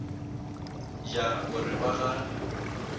ja o re ba ga